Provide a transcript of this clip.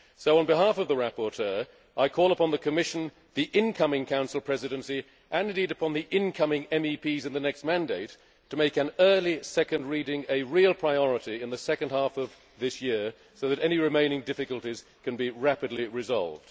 On behalf of the rapporteur, I call on the Commission, the incoming Council Presidency and, indeed, on the incoming MEPs in the next mandate to make an early second reading a real priority in the second half of this year, so that any remaining difficulties can be rapidly resolved.